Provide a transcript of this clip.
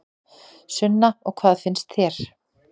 Sunna: Og hvað finnst þér?